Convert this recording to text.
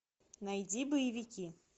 найди боевики